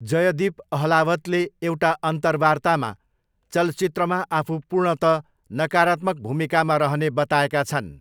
जयदीप अहलावतले एउटा अन्तरवार्तामा चलचित्रमा आफू 'पूर्णतः नकारात्मक' भूमिकामा रहने बताएका छन्।